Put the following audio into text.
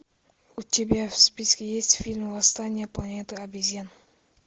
у тебя в списке есть фильм восстание планеты обезьян